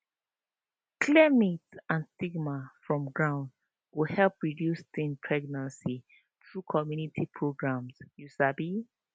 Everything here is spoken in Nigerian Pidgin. clear myth and stigma from ground go help reduce teen pregnancy through community programs you sabi